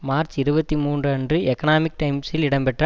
March இருபத்தி மூன்று அன்று எக்கனாமிக் டைம்ஸில் இடம்பெற்ற